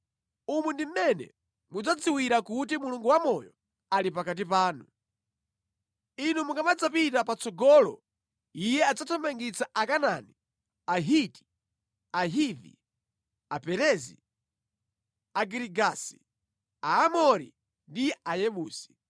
Umu ndi mmene mudzadziwira kuti Mulungu wamoyo ali pakati panu. Inu mukamadzapita patsogolo Iye adzathamangitsa Akanaani, Ahiti, Ahivi, Aperezi, Agirigasi, Aamori ndi Ayebusi.